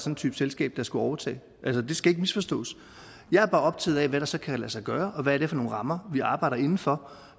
en type selskab der skulle overtage altså det skal ikke misforstås jeg er bare optaget af hvad der så kan lade sig gøre og hvad det er for nogle rammer vi arbejder inden for